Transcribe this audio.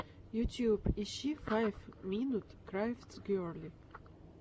ютюб ищи файв минут крафтс герли